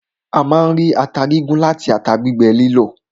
A máa ń rí ata gígún láti ata gbígbẹ lílọ̀.